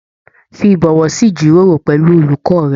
Fí ibọwọ sí ijiroro pẹlú olùkọ rẹ.